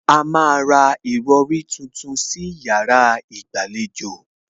A má a ra ìrọrí tuntun sí yàrá ìgbàlejò